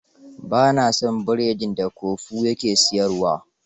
Ba na son biredin da Kofu ya ke siyarwa.